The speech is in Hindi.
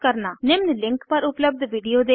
निम्न लिंक पर उपलब्ध विडिओ देखें